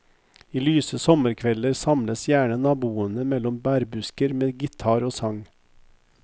I lyse sommerkvelder samles gjerne naboene mellom bærbusker med gitar og sang.